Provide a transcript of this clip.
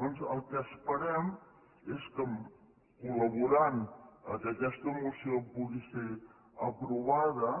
doncs el que esperem és que col·laborant perquè aquesta moció pugui ser aprovada